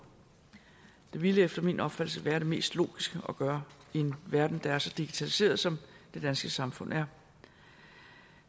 det ville efter min opfattelse være det mest logiske at gøre i en verden der er så digitaliseret som det danske samfund er